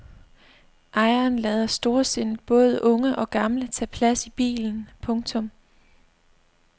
Ejeren lader storsindet både unge og gamle tage plads i bilen. punktum